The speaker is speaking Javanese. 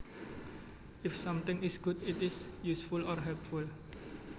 If something is good it is useful or helpful